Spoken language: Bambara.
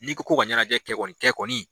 N'i ko ka ɲɛnajɛ kɛ kɔni kɛ kɔni